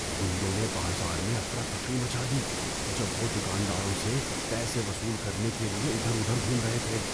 غنڈوں نے بازار میں افراتفری مچا دی جب وہ دکانداروں سے پیسے وصول کرنے کے لیے ادھر ادھر گھوم رہے تھے۔